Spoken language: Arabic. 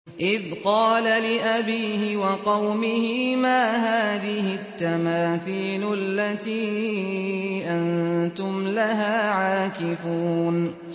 إِذْ قَالَ لِأَبِيهِ وَقَوْمِهِ مَا هَٰذِهِ التَّمَاثِيلُ الَّتِي أَنتُمْ لَهَا عَاكِفُونَ